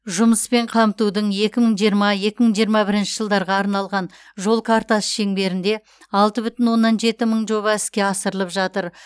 жұмыспен қамтудың екі мың жиырма екі мың жиырма бірінші жылдарға арналған жол картасы шеңберінде алты бүтін оннан жеті мың жоба іске асырылып жатыр